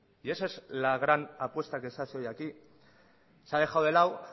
y esa es la gran apuesta que se hace hoy aquí se ha dejado de lado